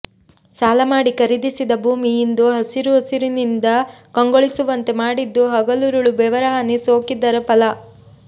ಸಾಲ ಮಾಡಿ ಖರೀದಿಸಿದ ಭೂಮಿ ಇಂದು ಹಸಿರುಸಿರಿಯಿಂದ ಕಂಗೊಳಿಸುವಂತೆ ಮಾಡಿದ್ದು ಹಗಲಿರುಳ ಬೆವರ ಹನಿ ಸೋಕಿದ್ದರ ಫಲ